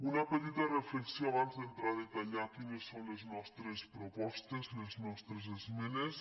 una petita reflexió abans d’entrar a detallar quines són les nostres propostes les nostres esmenes